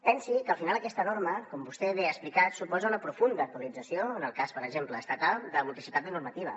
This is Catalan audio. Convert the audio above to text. pensi que al final aquesta norma com vostè bé ha explicat suposa una profunda actualització en el cas per exemple estatal de multiplicitat de normativa